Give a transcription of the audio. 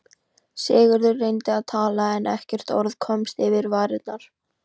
Sigurður reyndi að tala en ekkert orð komst yfir varirnar.